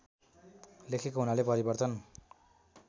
लेखेको हुनाले परिवर्तन